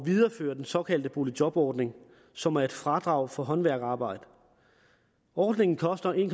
videreføre den såkaldte boligjobordning som er et fradrag for håndværkerarbejde ordningen koster en